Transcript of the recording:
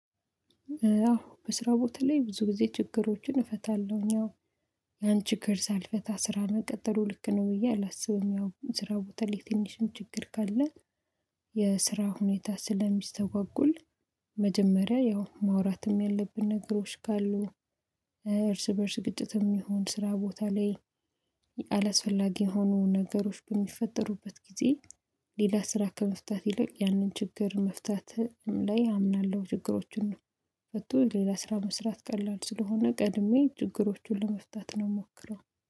አዎ በስራ ቦታ ላይ ብዙ ጊዜ ችግሮችን እፈታለሁኝ አዎ ያን ችግር ሳልፈታ ስራ ነው መቀጠሉ ልክ ነው ብዬ አላስብም ያው ስራ ቦታ ላይ ትንሽም ችግር ካለ የስራ ሁኔታ ስለሚስተጓጎል መጀመሪያ ያው ማውራትም ያለብን ነገሮች ካሉ እርስ በእርስ ግጭትም ይሁን ስራ ቦታ ላይ አላስፈላጊ የሆኑ ነገሮች በሚፈጠሩበት ጊዜ ሌላ ስራ ከመፍታት ይልቅ ያንን ችግር መፍታት ላይ አምናለሁ ችግሮቹን ፈቶ ሌላ ስራ መስራት ቀላል ስለሆነ ቀድሜ ችግሮቹን ለመፍታት ነው የምሞክረው።